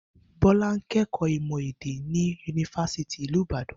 Bó̩lá ń ké̩kò̩ó̩ Ìmò̩ È̩dá-Èdè ní Yunifásítì ti ìlú Ibadan